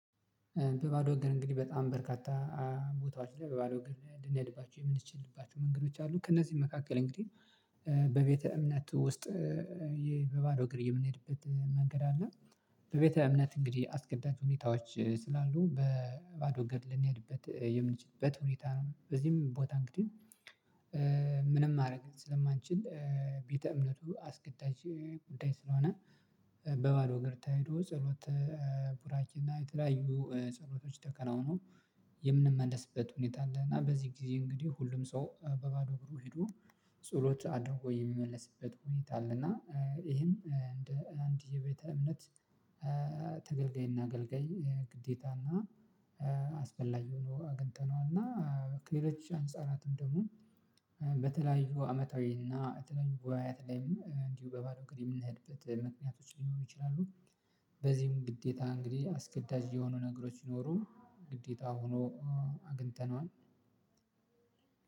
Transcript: በባዶ እግር እንግዲህ በጣም በርካታ ቦታዎች ላይ በባዶ እግር ልንሄድባቸው የምንችልባቸው መንገዶች አሉ። ከእነዚህ መካከል እንግዲህ በቤተ እምነት ውስጥ በባዶ እግር የምንሄድበት መንገድ አለ። በቤተ እምነት እንግዲህ አስገዳጅ ሁኔታዎች ስላሉ በባዶ እንግድ ልንሄድበት የምንችልበት ሁኔታ ነው። በዚህም ቦታ እንግዲህ ምንም ማድረግ ስለማንችል ቤተ እምነቱ አስገዳጅ ጉዳይ ስለሆነ በባለው እግር ተሄዶ ጸሎት ቡራኬ እና እና የተለያዩ ጸሎቶች ተከናውኖ የምንመለስበት ሁኔታ አለ። እና በዚህ ጊዜ እንግዲህ ሁሉም ሰው በባዶ እግሩ ሄዶ ጸሎት አድርጎ የሚመለስበት ሁኔታ አለ። እና ይህም እንደ አንድ የቤተ እምነት ተገልጋይና አገልጋይ ግዴታና አስፈላጊ ሆኖ አግኝተነዋል። እና ከሌሎች አንጻራትም ደግሞ በተለያዩ አመታዊና የተለያዩ ወያት ላይም እንዲሁ በባዶ እግር የምንሄድበት ምክንያቶች ሊኖሩ ይችላሉ። በዚህም ግዴታ እንግዲህ አስገዳጅ የሆኑ ነገሮች ቢኖሩም ግዴታ ሆኖ አግኝተነዋል።